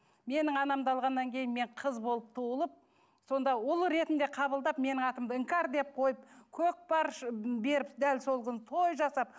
менің анамды алғаннан кейін мен қыз болып туылып сонда ұл ретінде қабылдап менің атымды іңкәр деп қойып көкпар беріп дәл сол күні той жасап